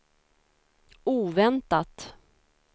oväntat